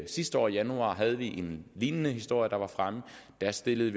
sidste år i januar havde vi en lignende historie fremme og der stillede